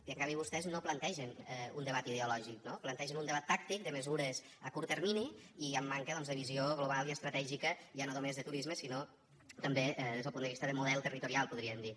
i en canvi vostès no plantegen un debat ideològic plantegen un debat tàctic de mesures a curt termini i amb manca de visió global i estratègica ja no només de turisme sinó també des del punt de vista de model territorial podríem dir